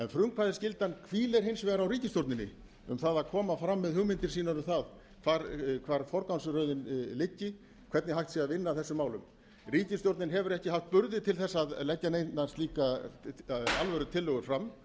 frumkvæðisskyldan hvílir hins vegar á ríkisstjórninni með að koma fram með hugmyndir sínar um það hvar forgangsröðin liggi hvernig hægt sé að vinna að þessum málum ríkisstjórnin hefur ekki haft burði til að leggja neinar slíkar alvörutillögur fram